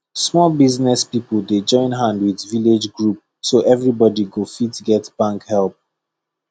small business people dey join hand with village group so everybody go fit get bank help